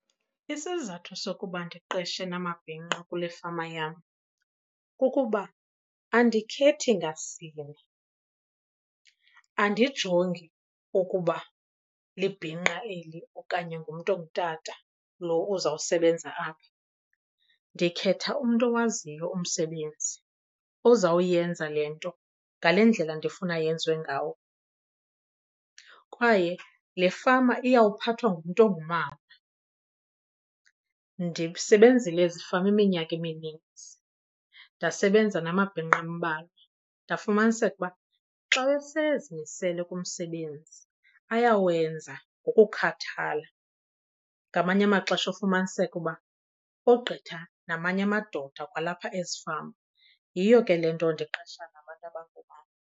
Isizathu sokuba ndiqeshe namabhinqa kule fama yam kukuba andikhethi ngasini. Andijongi ukuba libhinqa eli okanye ngumntu ongutata lo uzawusebenza apha, ndikhetha umntu owaziyo umsebenzi ozawuyenza le nto ngale ndlela ndifuna yenziwe ngawo. Kwaye le fama iyawuphathwa ngumntu ongumama. Ndisebenzile ezifama iminyaka emininzi ndasebenza namabhinqa ambalwa, ndafumaniseka ukuba xa esezimisele kumsebenzi ayawenza ngokukhathala. Ngamanye amaxesha ufumaniseke uba ogqitha namanye amadoda kwalapha ezifama. Yiyo ke le nto ndiqesha nabantu abangoomama.